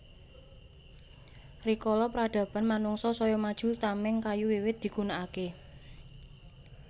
Rikala pradaban manungsa saya maju tameng kayu wiwit digunakake